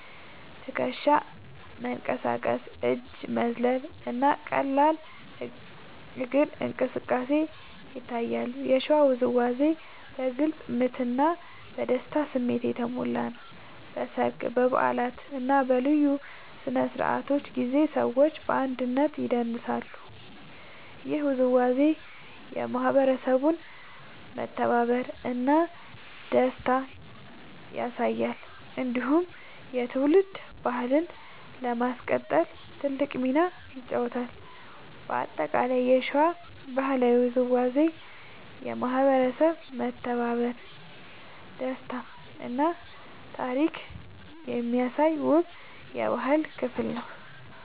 ትከሻ መንቀሳቀስ፣ እጅ መዝለል እና ቀላል እግር እንቅስቃሴ ይታያሉ። የሸዋ ውዝዋዜ በግልጽ ምት እና በደስታ ስሜት የተሞላ ነው። በሰርግ፣ በበዓላት እና በልዩ ስነ-ስርዓቶች ጊዜ ሰዎች በአንድነት ይደንሳሉ። ይህ ውዝዋዜ የማህበረሰቡን መተባበር እና ደስታ ያሳያል። እንዲሁም የትውልድ ባህልን ለማስቀጠል ትልቅ ሚና ይጫወታል። በአጠቃላይ የሸዋ ባህላዊ ውዝዋዜ የማህበረሰብ መተባበር፣ ደስታ እና ታሪክ የሚያሳይ ውብ የባህል ክፍል ነው።